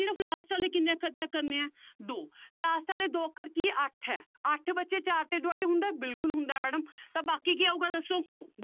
ਸਿਰਫ਼ last ਵਾਲੇ ਕਿੰਨੇ ਅੱਖਰ check ਕਰਨੇ ਹੈ ਦੋ last ਵਾਲੇ ਦੋ ਅੱਖਰ ਕੀ ਅੱਠ ਹੈ ਅੱਠ ਬੱਚੇ ਚਾਰ ਤੇ divide ਹੁੰਦਾ ਹੈ ਬਿਲਕੁਲ ਹੁੰਦਾ ਹੈ madam ਤਾਂ ਬਾਕੀ ਕੀ ਆਊਗਾ ਦੱਸੋ